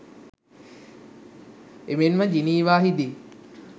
එමෙන්ම ජිනීවාහිදී